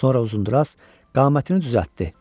Sonra Uzundraz qamətini düzəltdi.